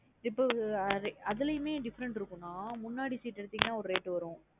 இப்போ அதுலயுமே different இருக்கும்ன்னா. முன்னாடி s eat எடுத்தீங்கனா ஒரு rate வரும்.